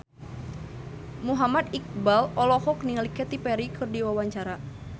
Muhammad Iqbal olohok ningali Katy Perry keur diwawancara